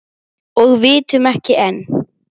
Hún japlaði á líminu.